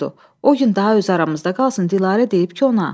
O gün daha öz aramızda qalsın, Dilarə deyib ki, ona.